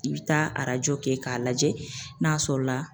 I bɛ taa arajo kɛ k'a lajɛ n'a sɔrɔla